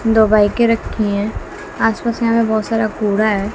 दो बाइके रखी है आस पास यह पे बहोत सारा कुड़ा हैं।